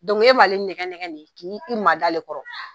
e b'ale nɛgɛ nɛgɛ de, k' i i ma da ale kɔrɔ